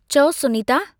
चउ, Sunita.